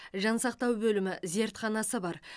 жансақтау бөлімі зертханасы бар